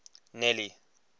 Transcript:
nelly